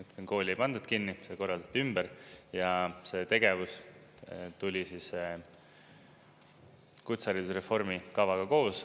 Ütleksin, et kooli ei pandud kinni, see korraldati ümber ja selle tegevus tuli siis kutseharidusreformi kavaga koos.